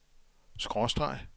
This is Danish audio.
skråstreg